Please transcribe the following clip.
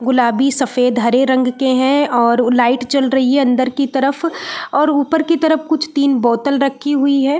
गुलाबीसफ़ेदहरे रंग के हैं और लाइट चल रही हैं अंदर की तरफ और ऊपर की तरफ कुछ तीन बोतल रक्खी हुई हैं।